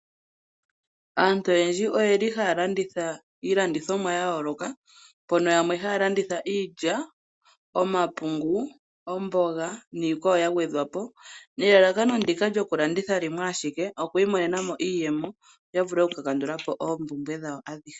Aantu oyendji ohaya landitha iilandithomwa ya yooloka. Yamwe ohaya landitha iilya, omapungu, omboga niikwawo ya gwedhwa po. Elalakano lyokulanditha limwe alike, oku imonena mo iiyemo yo ya vule okukandula po oompumbwe dhawo adhihe.